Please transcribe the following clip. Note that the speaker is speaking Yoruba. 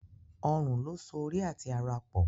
Ọrùn lo so orí àti àrà pọ